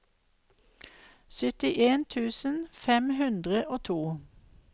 syttien tusen fem hundre og to